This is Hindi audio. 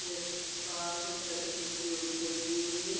इस पास एक छतरी जिओ की लगी हुई है ।